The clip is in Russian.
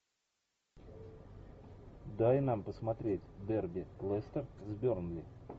дай нам посмотреть дерби лестер с бернли